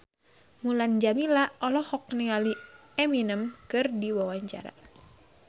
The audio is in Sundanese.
Mulan Jameela olohok ningali Eminem keur diwawancara